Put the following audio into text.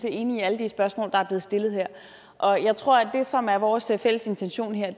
enig i alle de spørgsmål der er blevet stillet her og jeg tror at det som er vores fælles intention her